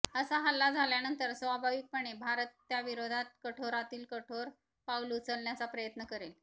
असा हल्ला झाल्यानंतर स्वाभाविकपणे भारत त्याविरोधात कठोरातील कठोर पाऊल उचलण्याचा प्रयत्न करेल